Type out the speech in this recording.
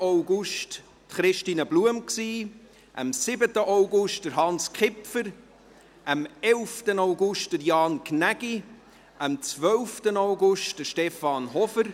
Am 5. August war dies Christine Blum, am 7. August Hans Kipfer, am 11. August Jan Gnägi und am 12. August Stefan Hofer.